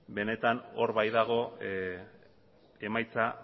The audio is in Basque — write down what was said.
benetan hor baitago emaitza